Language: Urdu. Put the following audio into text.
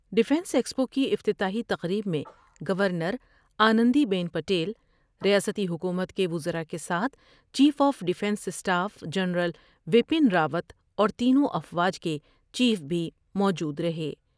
ڈفینس ایکسپو کی افتتاحی تقریب میں governor Anandiben Patel, ریاسی حکومت کے وزراء کے ساتھ chief of defence staff general Bipin Rawat اور تینوں افواج کے چیف بھی موجودر ہے ۔